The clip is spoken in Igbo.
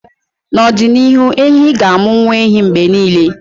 na ọdịnihu, ehi ga-amụ nwa ehi mgbe niile